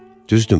Düzdürmü?